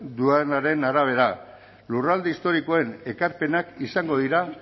duenaren arabera lurralde historikoen ekarpenak izango dira